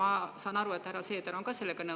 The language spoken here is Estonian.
Ma saan aru, et härra Seeder on ka sellega nõus.